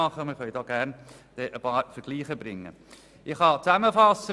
Wir können gerne einige Vergleiche anführen.